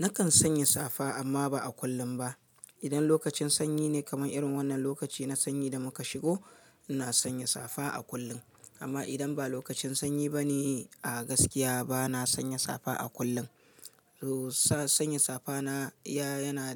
Nakan sanya safa amma ba a kullum ba. Idan lokacin sanyi ne kamar irin wannan lokaci na sanyi da muka shigo, ina sanya safa a kullum. Amma idan ba lokacin sanyi bane a gaskiya bana sanya safa a kullum. Sa sanya safa na yana